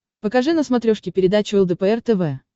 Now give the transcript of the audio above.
покажи на смотрешке передачу лдпр тв